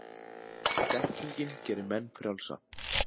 þekkingin gerir menn frjálsa